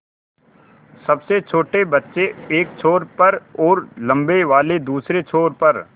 सबसे छोटे बच्चे एक छोर पर और लम्बे वाले दूसरे छोर पर